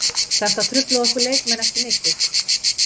Þetta truflaði okkur leikmenn ekki mikið.